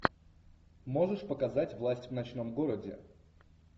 можешь показать власть в ночном городе